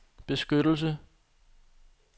beskyttelse